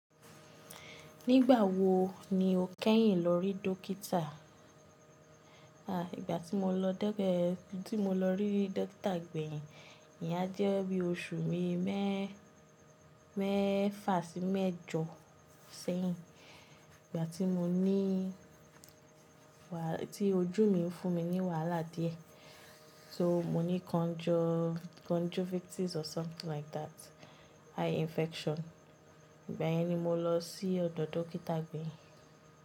Nígbà wo ni o kẹ́yìn lọ rí dókítà? A, ìgbà tí mo lọ dégbẹ́-- tí mo lọ rí dókítà gbẹ̀yìn, ìyẹn á jẹ́ bí oṣù bii mẹ́, mẹ́fa sí mẹ́jọ sẹ́yìn. Ìgbà tí mo ní wa-- tí ojú mi ń fún mi ní wàhálà díẹ̀. So mo ní conjun, conjunctivitis or something like that, eye infection. Ìgbẹ́yìn ni mo lọ sí ọ̀dọ̀ dókítà gbẹ̀yìn.